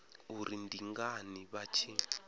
uri ndi ngani vha tshi